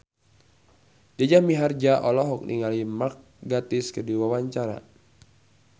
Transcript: Jaja Mihardja olohok ningali Mark Gatiss keur diwawancara